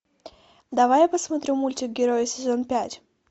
давай я посмотрю мультик герои сезон пять